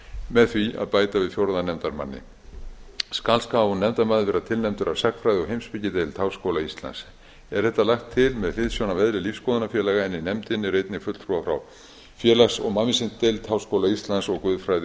með því að bæta við fjórða nefndarmanni skal sá nefndarmaður vera tilnefndur af sagnfræði og heimspekideild háskóla íslands er þetta lagt til með hliðsjón af eðli lífsskoðunafélaga en í nefndinni eru einnig fulltrúar frá félags og mannvísindadeild háskóla íslands og guðfræði